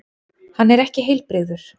Hann er ekki heilbrigður.